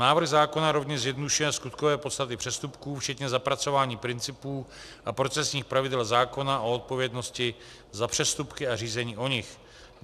Návrh zákona rovněž zjednodušuje skutkové podstaty přestupků včetně zapracování principů a procesních pravidel zákona o odpovědnosti za přestupky a řízení o nich.